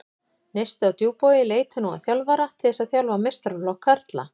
Neisti á Djúpavogi leitar nú að þjálfara til þess að þjálfa meistaraflokk karla.